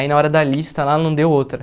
Aí, na hora da lista, lá não deu outra.